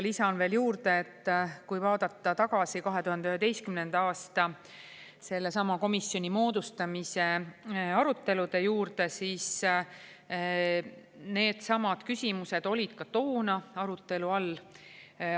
Lisan veel juurde, et kui vaadata tagasi 2011. aasta sellesama komisjoni moodustamise aruteludele, siis needsamad küsimused olid ka toona arutelu all.